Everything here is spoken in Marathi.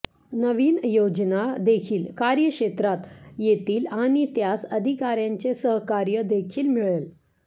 नवीन योजना देखील कार्यक्षेत्रात येतील आणि त्यास अधिकाऱ्यांचे सहकार्य देखील मिळेल